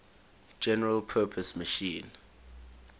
general purpose machine